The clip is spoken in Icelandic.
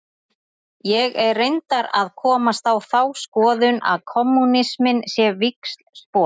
Ég er reyndar að komast á þá skoðun að kommúnisminn sé víxlspor.